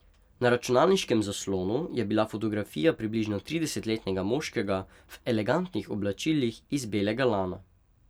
Na računalniškem zaslonu je bila fotografija približno tridesetletnega moškega v elegantnih oblačilih iz belega lana.